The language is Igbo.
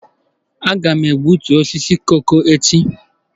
Aga m egbutu osisi koko echi.